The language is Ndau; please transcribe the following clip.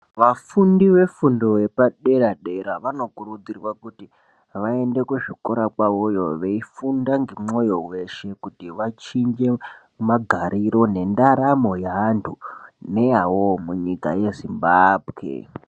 Vafundi vefundo yepadera dera vanokurudzirwa kuti vaende kuzvikora kwavoyo veyifunda ngemwoyo weshe kuti vachinje magariro nendaramo yewantu neyavowo munyika yeZimbabwe.